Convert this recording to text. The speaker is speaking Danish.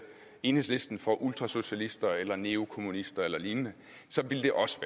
enhedslisten for ultrasocialister eller neokommunister eller lignende så ville det også